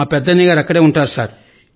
మా పెద్దన్నయ్యగారు అక్కడ ఉంటారు సార్